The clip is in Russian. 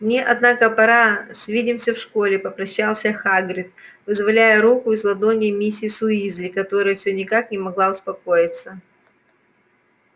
мне однако пора свидимся в школе попрощался хагрид вызволяя руку из ладоней миссис уизли которая всё никак не могла успокоиться